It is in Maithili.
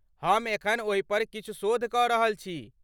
हम एखन ओहिपर किछु शोध कऽ रहल छी।